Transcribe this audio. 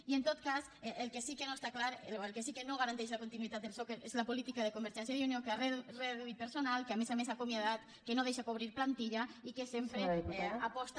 i en tot cas el que sí que no està clar o el que sí que no garanteix la continuïtat del soc és la política de convergència i unió de reduir personal que a més a més ha acomiadat que no deixa cobrir plantilla i que sempre aposta